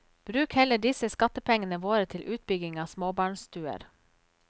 Bruk heller disse skattepengene våre til utbygging av småbarnstuer.